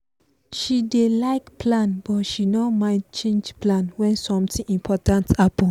she dey like plan but she no mind change plan when something important happen.